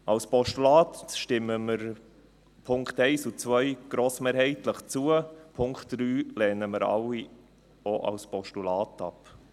Als Postulat stimmen wir den Punkten 1 und 2 grossmehrheitlich zu, den Punkt 3 lehnen wir alle auch als Postulat ab.